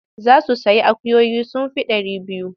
Za su sayi akuyoyi sun fi ɗari biyu.